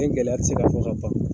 Nin gɛlɛya tɛ se ka fɔ ka ban